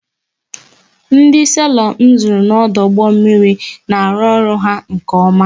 Ndo selọ m zụrụ n'ọdụ ụgbọ mmiri na arụ ọrụ ha nke oma